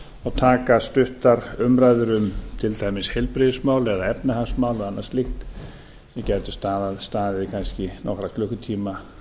og taka stuttar umræður um til dæmis heilbrigðismál eða efnahagsmál og annað slíkt sem gætu staðið kannski nokkra klukkutíma